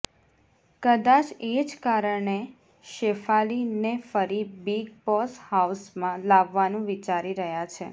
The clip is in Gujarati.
કદાચ એ જ કારણે શેફાલી ને ફરી બિગ બોસ હાઉસમાં લાવવાનું વિચારી રહ્યા છે